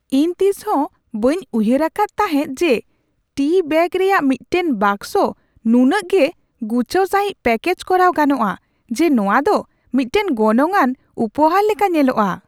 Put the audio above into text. ᱤᱧ ᱛᱤᱥᱦᱚᱸ ᱵᱟᱹᱧ ᱩᱭᱦᱟᱹᱨ ᱟᱠᱟᱫᱟ ᱛᱟᱦᱮᱸᱜ ᱡᱮ ᱴᱤ ᱵᱮᱹᱜ ᱨᱮᱭᱟᱜ ᱢᱤᱫᱴᱟᱝ ᱵᱟᱠᱥᱚ ᱱᱩᱱᱟᱹᱜ ᱜᱮ ᱜᱩᱪᱷᱟᱹᱣ ᱥᱟᱹᱦᱤᱡ ᱯᱮᱠᱮᱡ ᱠᱚᱨᱟᱣ ᱜᱟᱱᱚᱜᱼᱟ ᱡᱮ ᱱᱚᱶᱟ ᱫᱚ ᱢᱤᱫᱴᱟᱝ ᱜᱚᱱᱚᱝᱼᱟᱱ ᱩᱯᱚᱦᱟᱨ ᱞᱮᱠᱟ ᱧᱮᱞᱚᱜᱼᱟ ᱾